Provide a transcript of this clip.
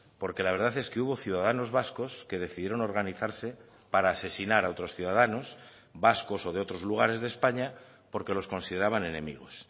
porque la verdad es que hubo ciudadanos vascos que decidieron organizarse para asesinar a otros ciudadanos vascos o de otros lugares de españa porque los consideraban enemigos